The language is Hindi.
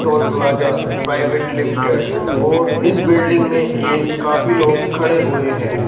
टोल प्लाजा प्राइवेट लिमिटेड और इस बिल्डिंग में एक काफी लोग खड़े हुए है।